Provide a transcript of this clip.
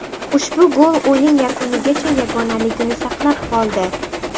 Ushbu gol o‘yin yakunigacha yagonaligini saqlab qoldi.